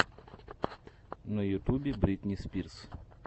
на ютубе бритни спирс